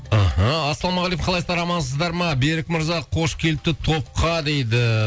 мхм ассалаумағалейкум қалайсыздар амансыздар ма берік мырза қош келіпті топқа дейді